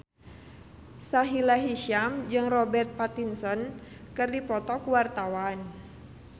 Sahila Hisyam jeung Robert Pattinson keur dipoto ku wartawan